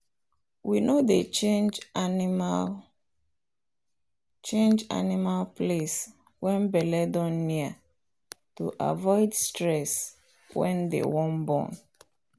we no dey change animal change animal place when belle don near to avoid stress when they wan born.